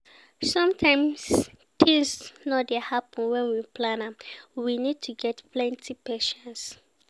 Sometimes things no dey happen when we plan am, we need to get plenty patience